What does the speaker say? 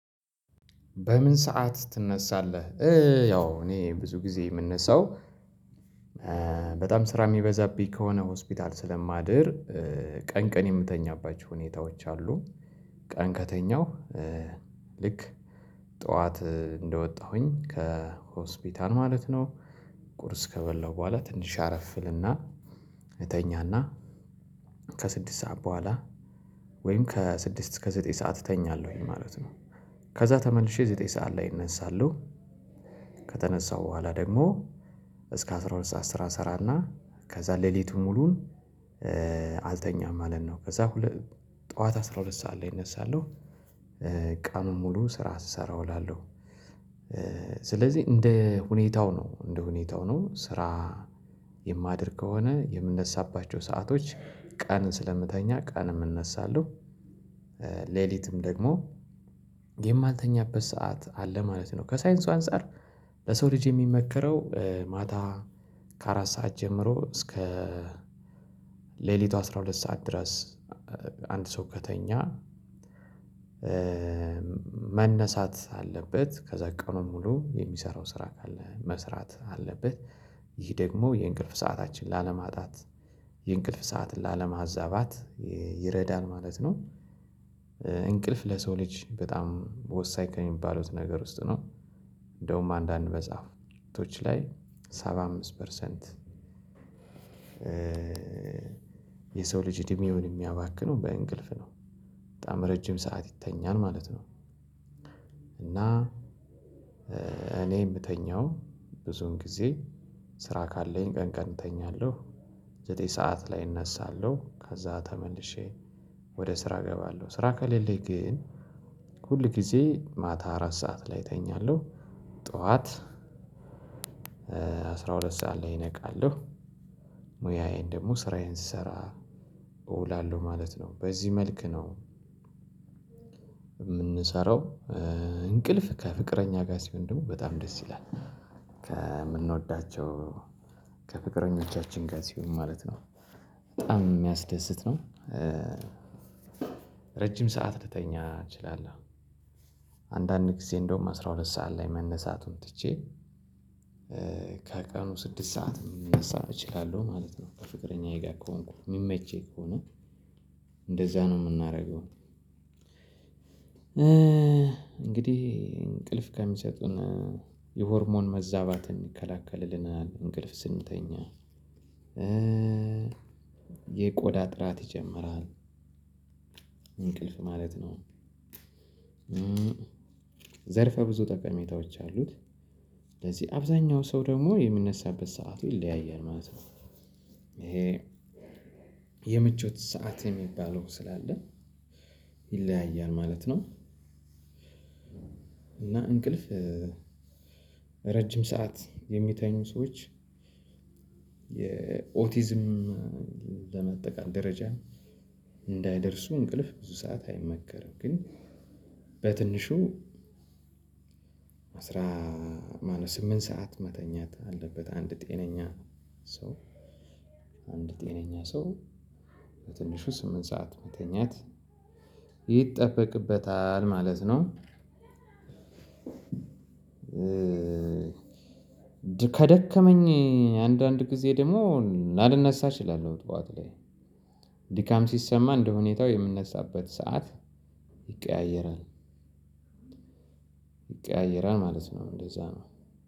በምን ሰዓት ትነሳለህ? ያው እኔ ብዙ ጊዜ ምነሳው። በጣም ስራ ሚበዛብኝ ከሆነ ሆስፒታል ስለማድር ቀን ቀን የምተኛባቸው ሁኔታዎች አሉ። ቀን ከተኛው ልክ ጠዋት እንደወጣሁኝ ከሆስፒታል ማለት ነው። ቁርስ ከበላው በኋላ ትንሽ አረፍ እልና እተኛና ከስድስት ሰዓት በኋላ ወይም ከስድስት እስከ ዘጠኝ ሰዓት እተኛለሁኝ ማለት ነው። ከዛ ተመልሼ ዘጠኝ ሰዓት ላይ እነሳለው። ከተነሳሁ በኋላ ደግሞ እስከ አስራ ሁለት ሰዓት ስራ እስራና ከዛ ሌሊቱን ሙሉን አልተኛም ማለት ነው። ከዛ ሁለ ጠዋት አስራ ሁለት ሰዓት ላይ እነሳለሁ። ቀኑን ሙሉ ስራ ስሰራ እውላለሁ። ስለዚህ እንደ ሁኔታው ነው እንደ ሁኔታው ነው ስራ የማድር ከሆነ የምነሳባቸው ሰአቶች ቀን ስለምተኛ ቀንም እነሳለው። ሌሊትም ደግሞ የማልተኛበት ሰዓት አለ ማለት ነው። ከሳይንሱ አንፃር ለሰው ልጅ የሚመከረው ማታ ከአራት ሰዓት ጀምሮ እስከ ሌሊቱ አስራ ሁለት ሰዓት ድረስ አንድ ሰው ከተኛ መነሳት አለበት። ከዛ ቀኑ ሙሉ የሚሰራው ስራ ካለ መስራት አለበት። ይህ ደግሞ የእንቅልፍ ሰዓታችን ላለማጣት የእንቅልፍ ሰዓት ላለማዛባት ይረዳል ማለት ነው። እንቅልፍ ለሰው ልጅ በጣም ወሳኝ ከሚባሉት ነገር ውስጥ ነው። እንደውም አንዳንድ መጻሕፍቶች ላይ ሰባ አምስት ፐርሰንት የሰው ልጅ እድሜውን የሚያባክነው በእንቅልፍ ነው። በጣም ረጅም ሰዓት ይተኛል ማለት ነው። እና እኔ ምተኛው ብዙውን ጊዜ ቀን እተኛለሁ። ዘጠኝ ሰዓት ላይ እነሳለሁ ከዛ ተመልሼ ወደ ስራ እገባለሁ ስራ ከሌለኝ ግን ሁል ጊዜ ማታ አራት ሰዓት ላይ እተኛለሁ። ጠዋት አስራ ሁለት ሰዓት ላይ እነቃለሁ። ሙያዬን ደግሞ ስራዬን ስሰራ እውላለሁ ማለት ነው በዚህ መልክ ነው። ምንሰራው እንቅልፍ ከፍቅረኛ ጋር ሲሆን ደግሞ በጣም ደስ ይላል። ከምንወዳቸው ከፍቅረኞቻችን ጋር ሲሆን ማለት ነው። በጣም ሚያስደስት ነው። ረጅም ሰዓት ልተኛ እንችላለን። አንዳንድ ጊዜ እንደውም አስራ ሁለት ሰዓት ላይ መነሳቱን ትቼ ከቀኑ ስድስት ሰዓት ልነሳ እችላለሁ ማለት ነው። ከፍቅረኛዬ ጋር ከሆንኩ ሚመቸኝ ከሆነ እንደዛ ነው ምናረገው። እንግዲህ እንቅልፍ ከሚሰጡን የሆርሞን መዛባትን ይከላከልልናል እንቅልፍ ስንተኛ የቆዳ ጥራት ይጨምራል። እንቅልፍ ማለት ነው። ዘርፈ ብዙ ጠቀሜታዎች አሉት። ስለዚህ አብዛኛው ሰው ደግሞ የሚነሳበት ሰዓቱ ይለያያል ማለት ነው። ይሄ የምቾት ሰዓት የሚባለው ስላለ ይለያያል ማለት ነው። እና እንቅልፍ ረጅም ሰዓት የሚተኙ ሰዎች የኦቲዝም ለመጠቃት ደረጃ እንዳይደርሱ እንቅልፍ ብዙ ሰዓት አይመከርም። ግን በትንሹ አስራ ስምንት ሰዓት መተኛት አለበት አንድ ጤነኛ ነው። ሰው አንድ ጤነኛ ሰው በትንሹ ስምንት ሰዓት መተኛት ይጠበቅበታል ማለት ነው። ከደከመኝ አንዳንድ ጊዜ ደግሞ ላልነሳ እችላለሁ ጠዋት ላይ ድካም ሲሰማ እንደሁኔታው ምነሳበት ሰዓት ይቀያየራል። ይቀያየራል ማለት ነው እንደዛ ነው።